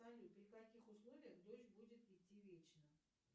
салют при каких условиях дождь будет идти вечно